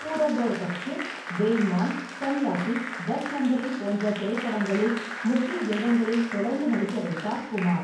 பூரப் அவுர் பஷ்டிம் , பே -இமான், சன்யாசி, தஸ் நம்ப்ரி போன்ற திரைப்படங்களில் முக்கிய வேடங்களில் தொடர்ந்து நடிக்க வைத்தார் குமார்.